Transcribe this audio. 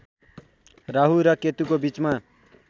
राहु र केतुको बीचमा